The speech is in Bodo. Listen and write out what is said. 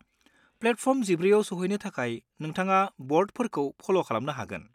प्लेटफर्म 14 आव सहैनो थाखाय नोंथाङा ब'र्डफोरखौ फल' खालामनो हागोन।